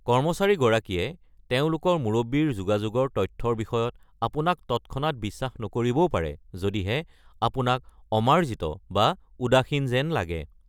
কৰ্মচাৰীগৰাকীয়ে তেওঁলোকৰ মুৰব্বীৰ যোগাযোগৰ তথ্যৰ বিষয়ত আপোনাক তৎক্ষণাত বিশ্বাস নকৰিবও পাৰে যদিহে আপোনাক অমাৰ্জিত বা উদাসীন যেন লাগে।